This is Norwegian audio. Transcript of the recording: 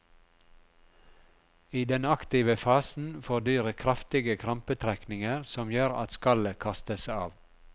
I den aktive fasen får dyret kraftige krampetrekninger som gjør at skallet kastes av.